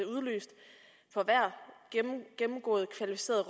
udløst for hvert gennemgået kvalificeret